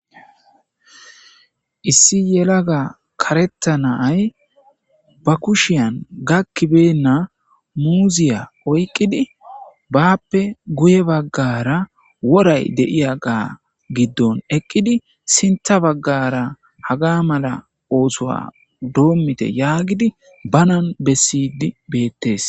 Issi yelaga karetta nay ba kushiyan gakkibenna muuziya oyqqidi baappe guye baggara woray deiya gaa giddon eqqidi sintha baggara haga mala oosoa doommite yaagidi banan bessidi beettes.